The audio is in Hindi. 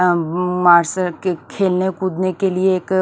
अ अ अ मार्शल के खेलने कूदने के लिए एक--